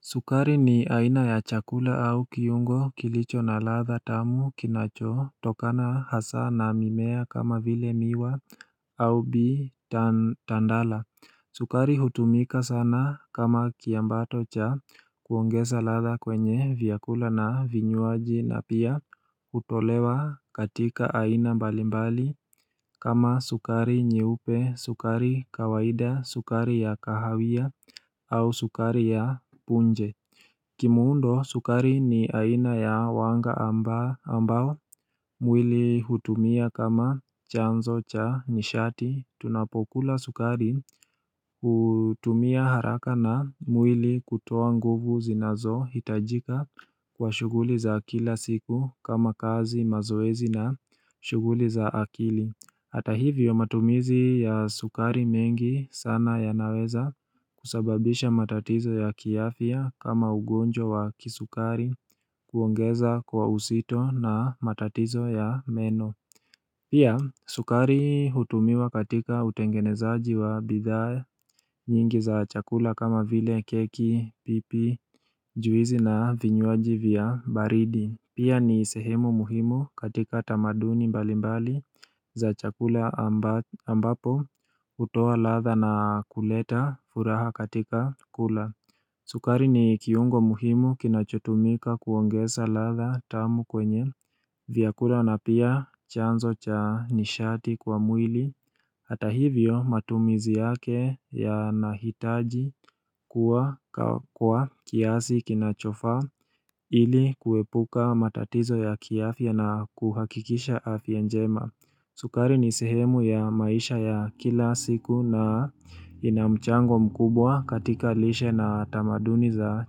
Sukari ni aina ya chakula au kiungo kilicho na ladha tamu kinachotokana hasaa na mimea kama vile miwa au tandala. Sukari hutumika sana kama kiambato cha kuongeza ladha kwenye vyakula na vinywaji na pia hutolewa katika aina mbalimbali kama sukari nyeupe, sukari kawaida, sukari ya kahawia au sukari ya punje Kimuundo sukari ni aina ya wanga ambao mwili hutumia kama chanzo cha nishati. Tunapokula sukari hutumia haraka na mwili kutoa nguvu zinazohitajika kwa shughuli za kila siku kama kazi, mazoezi na shuguli za akili. Hata hivyo matumizi ya sukari mengi sana yanaweza kusababisha matatizo ya kiafia kama ugonjwa wa kisukari, kuongeza kwa uzito na matatizo ya meno Pia sukari hutumiwa katika utengenezaji wa bidhaa nyingi za chakula kama vile keki, pipi, juizi na vinywaji vya baridi. Pia ni sehemu muhimu katika tamaduni mbali mbali za chakula ambapo hutoa ladha na kuleta furaha katika kula. Sukari ni kiungo muhimu kinachotumika kuongeza ladha tamu kwenye vyakula na pia chanzo cha nishati kwa mwili. Hata hivyo matumizi yake yanahitaji kuwa kwa kiasi kinachofaa ili kuepuka matatizo ya kiafya na kuhakikisha afya njema. Sukari ni sehemu ya maisha ya kila siku na ina mchango mkubwa katika lishe na tamaduni za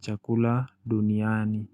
chakula duniani.